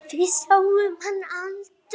Við sáum hann aldrei.